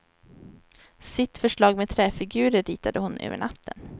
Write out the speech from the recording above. Sitt förslag med träfigurer ritade hon över natten.